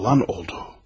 Olan oldu.